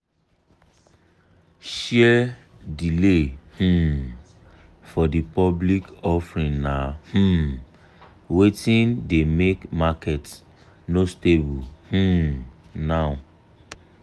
share delay um for the public offering na um wetin dey make market no stable um now.